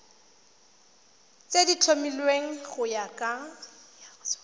tse di tlhomilweng go ya